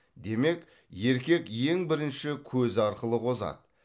демек еркек ең бірінші көзі арқылы қозады